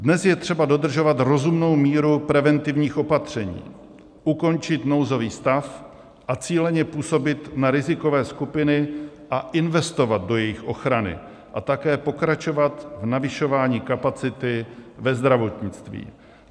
Dnes je třeba dodržovat rozumnou míru preventivních opatření, ukončit nouzový stav a cíleně působit na rizikové skupiny a investovat do jejich ochrany a také pokračovat v navyšování kapacity ve zdravotnictví.